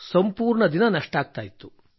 ಸಂಪೂರ್ಣ ದಿನ ನಷ್ಟವಾಗುತ್ತಿತ್ತು